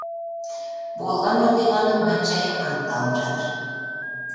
болған оқиғаның мән жайы анықталып жатыр